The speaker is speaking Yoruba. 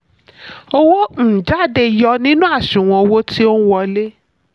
owó um jáde: yọ nínú àṣùwọ̀n owó tí ó n wọlé.